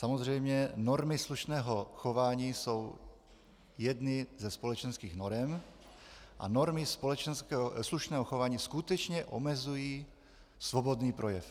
Samozřejmě normy slušného chování jsou jedny ze společenských norem a normy slušného chování skutečně omezují svobodný projev.